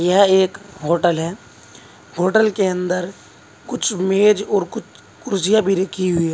यह एक होटल है होटल के अंदर कुछ मेज और कुछ कुर्सियां भी रखी हुई है।